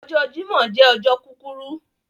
Ọjọ̀ Jímọ̀ jẹ ọjọ̀ kukuru